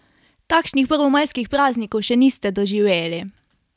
Takšnih prvomajskih praznikov še niste doživeli!